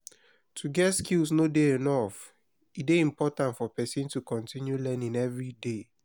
to get skill no de enough e de important for persin to continue learning everyday